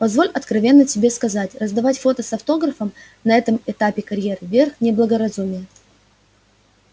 позволь откровенно тебе сказать раздавать фото с автографом на этом этапе карьеры верх неблагоразумия